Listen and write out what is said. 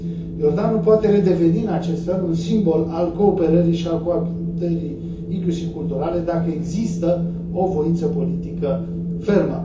Iordanul poate redeveni în acest fel un simbol al cooperării și al coabitării, inclusiv culturale, dacă există o voință politică fermă.